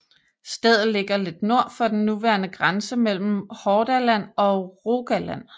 Stedet ligger lidt nord for den nuværende grænse mellem Hordaland og Rogaland